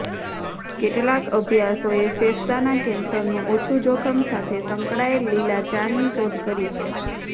કેટલાક અભ્યાસોએ ફેફસાના કેન્સરનું ઓછું જોખમ સાથે સંકળાયેલ લીલા ચાની શોધ કરી છે